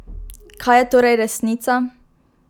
Kaj je torej resnica?